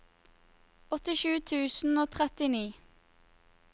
åttisju tusen og trettini